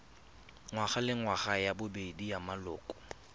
ngwagalengwaga ya bobedi ya maloko